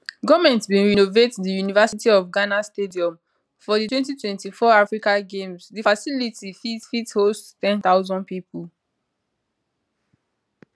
goment bin renovate di university of ghana stadium for di 2024 africa games di facility fit fit host 10000 pipo